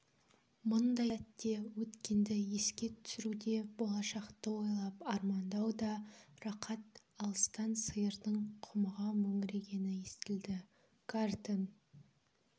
мұндай сәтте өткенді еске түсіруде болашақты ойлап армандау да рақат алыстан сиырдың құмыға мөңірегені естілді гартен